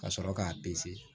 Ka sɔrɔ k'a